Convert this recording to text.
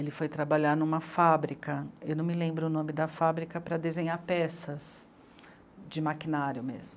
Ele foi trabalhar numa fábrica, eu não me lembro o nome da fábrica, para desenhar peças de maquinário mesmo.